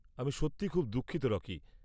আমি সত্যিই খুব দুঃখিত রকি।